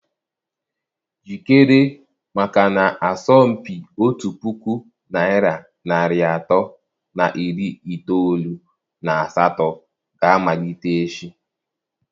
Jikere maka na asọmpi otu puku naịra narị atọ na iri itoolu na asatọ ga-amalite echi.